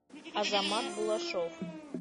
азамат булашов